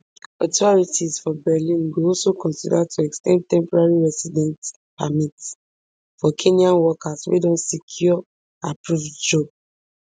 authorities for berlin go also consider to ex ten ding temporary residence permits for kenyan workers wey don secure approved job